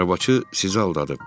Arabçı sizi aldadıb.